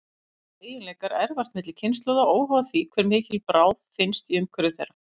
Þessir eiginleikar erfast milli kynslóða, óháð því hve mikil bráð finnst í umhverfi þeirra.